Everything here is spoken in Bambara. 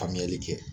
Faamuyali kɛ